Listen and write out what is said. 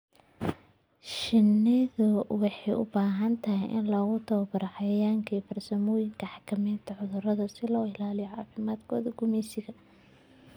Shinnidu waxay u baahan tahay in lagu tababaro cayayaanka iyo farsamooyinka xakamaynta cudurrada si loo ilaaliyo caafimaadka gumeysiga.